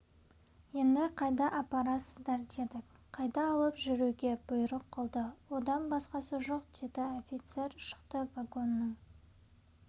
енді қайда апарасыздар дедік қайта алып жүруге бұйрық қылды одан басқасы жоқ деді офицер шықты вагонның